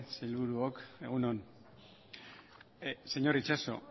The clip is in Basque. sailburuok egun on señor itxaso